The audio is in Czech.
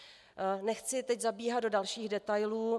Nechci teď zabíhat do dalších detailů.